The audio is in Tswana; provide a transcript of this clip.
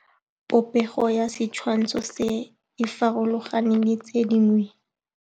Popêgo ya setshwantshô se, e farologane le tse dingwe.